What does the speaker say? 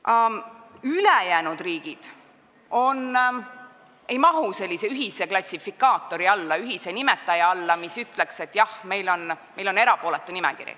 Aga ülejäänud riigid ei mahu sellise klassifikaatori, ühise nimetaja alla, mis ütleks, et meil on erapooletu nimekiri.